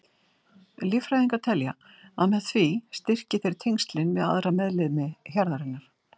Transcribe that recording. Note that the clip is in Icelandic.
Líffræðingar telja að með því styrki þeir tengslin við aðra meðlimi hjarðarinnar.